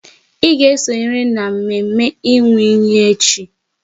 Ị ga esonyeriri n'mme mme ịnwụ iyi echi!